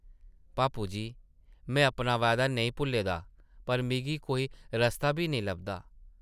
पापू जी, में अपना वायदा नेईं भुल्ले दा पर मिगी कोई रस्ता बी नेईं लभदा ।